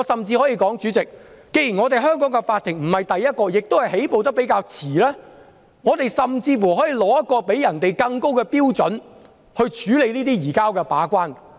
主席，既然香港法庭處理這類案件起步較遲，我們甚至可以訂出更高的把關標準，處理這類移交逃犯的案件。